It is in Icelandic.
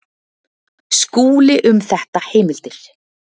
Skúli um þetta heimildir.